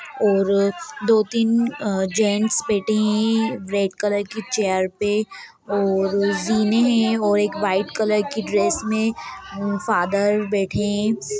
और दो तीन अँ जेंट्स बैठे हैं| रेड कलर की चेयर पे और ज़ीने हैं और एक व्हाइट कलर की ड्रेस में फादर बैठे हैं।